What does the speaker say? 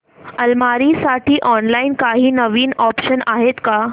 अलमारी साठी ऑनलाइन काही नवीन ऑप्शन्स आहेत का